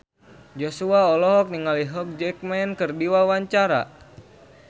Joshua olohok ningali Hugh Jackman keur diwawancara